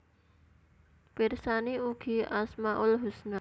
Pirsani ugi Asmaul husna